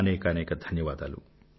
అనేకానేక ధన్యవాదాలు